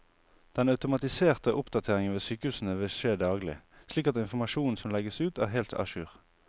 Den automatiserte oppdateringen ved sykehusene vil skje daglig, slik at informasjonen som legges ut er helt a jour.